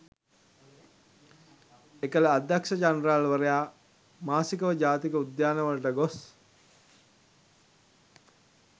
එකල අධ්‍යක්‍ෂ ජනරාල් වරයා මාසිකව ජාතික උද්‍යානවලට ගොස්